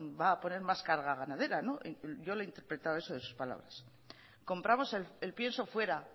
va a poner más carga ganadera no yo le he interpretado eso en sus palabras compramos el pienso fuera